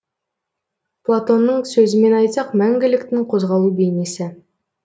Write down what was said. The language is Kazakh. платонның сөзімен айтсақ мәңгіліктің қозғалу бейнесі